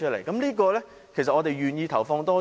在這方面我們願意投放多少？